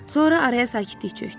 Sonra araya sakitlik çökdü.